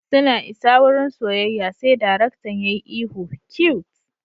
Suna isa wurin soyayya sai darektan yayi ihu cute!